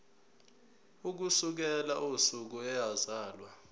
ukusukela usuku eyazalwa